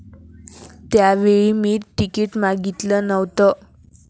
त्यावेळी मी तिकीट मागितलं नव्हतं.